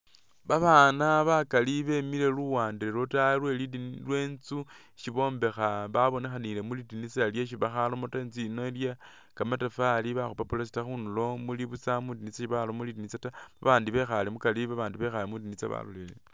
Babaana bakaali bemile luwande lwa taayi lweli dini lwe inzu isi bombekha babonekhanile mwi dinisa lyesi bakharamo taa, inzu yi ili iye kamatafali bakhupa pulasita khundulo muli busa sibaramo lindinisa taa abaandi bekhaale mukaari abandi bekhaale mwi dinisa balolelele.